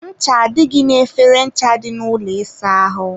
ncha adịghị n'efere ncha dị n'ụlọ ịsa ahụ.